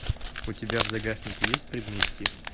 у тебя в загашнике есть предместье